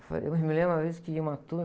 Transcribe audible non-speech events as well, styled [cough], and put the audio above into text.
[unintelligible] Eu me lembro uma vez que ia uma turma.